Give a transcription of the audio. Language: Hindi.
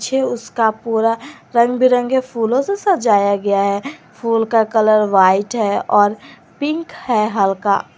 पीछे उसका पूरा रंग बिरंगे फूलों से सजाया गया है फूल का कलर व्हाइट है और पिक है हल्का--